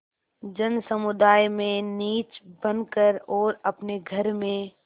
जनसमुदाय में नीच बन कर और अपने घर में